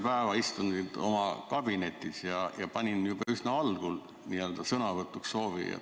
Ma istusin terve päeva oma kabinetis ja panin juba üsna algul sõnavõtusoovi kirja.